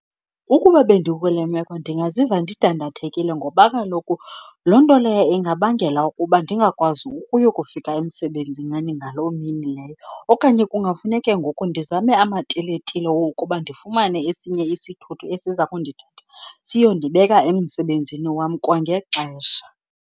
Ukuba bendikule meko ndingaziva ndidandathekile ngoba kaloku loo nto leyo ingabangela ukuba ndingakwazi ukuyokufika emsebenzini ngaloo mini leyo. Okanye kungafuneke ngoku ndizame amatiletile okuba ndifumane esinye isithuthi esiza kundithatha siyondibeka emsebenzini wam kwangexesha.